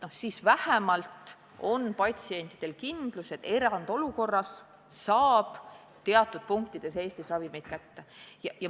Siis vähemalt on patsientidel kindlus, et erandolukorras saab teatud punktidest Eestis ravimeid kätte.